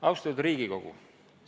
Austatud Riigikogu!